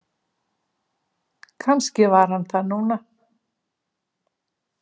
Kannski var hann þar núna.